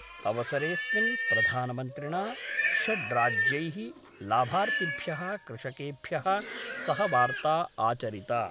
अवसरेस्मिन् प्रधानमन्त्रिणा षड्राज्यैः लाभार्थिभ्यः कृषकेभ्यः सहवार्ता आचरिता